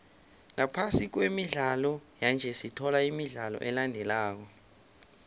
ngaphasi kwemidlalo yanje sithola imidlalo elandelako